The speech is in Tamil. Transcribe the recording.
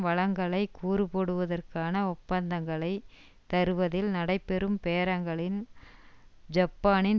வளங்களை கூறுபோடுவதற்கான ஒப்பந்தங்களை தருவதில் நடைபெறும் பேரங்களில் ஜப்பானின்